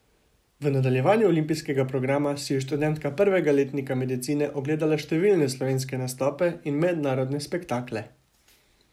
V nadaljevanju olimpijskega programa si je študentka prvega letnika medicine ogledala številne slovenske nastope in mednarodne spektakle.